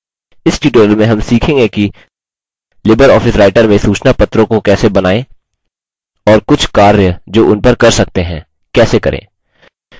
इस tutorial में हम सीखेंगे कि लिबर ऑफिस writer में सूचनापत्रों को कैसे बनाएँ और कुछ कार्य जो उन पर कर सकते हैं कैसे करें